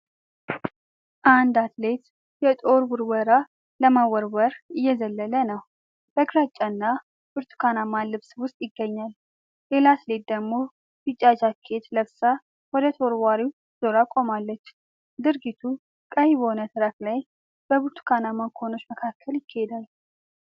አንድ አትሌት የጦር ውርወራ ለመወርወር እየዘለለ ነው። በግራጫና ብርቱካናማ ልብስ ውስጥ ይገኛል። ሌላ አትሌት ደግሞ ቢጫ ጃኬት ለብሳ ወደ ተወርዋሪው ዞራ ቆማለች። ድርጊቱ ቀይ በሆነ ትራክ ላይ፣ በብርቱካናማ ኮኖች መካከል ይካሄዳል።